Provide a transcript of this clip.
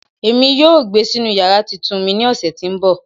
Emi yoo gbe sinu yara titun mi ni ọsẹ ti nbọ